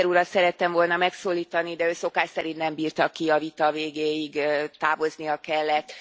Juncker urat szerettem volna megszólítani, de ő szokás szerint nem bírta ki a vita végéig, távoznia kellett.